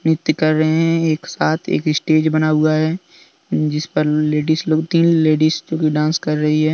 नृत्य कर रहे हैं एक साथ एक स्टेज बना हुआ है जिस पर लेडीज लोग तीन लेडीज लोग डांस कर रही है।